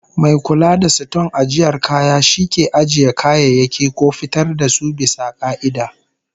Mai kula da siton ajiyar kaya shi ke ajiye kayayyaki ko fitar da su bisa ka'ida